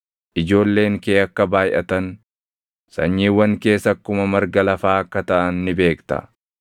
Ijoolleen kee akka baayʼatan, sanyiiwwan kees akkuma marga lafaa akka taʼan ni beekta.